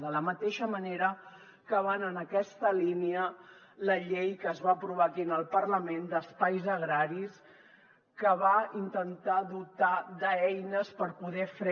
de la mateixa manera que va en aquesta línia la llei que es va aprovar aquí en el parlament d’espais agraris que va intentar dotar d’eines per poder fre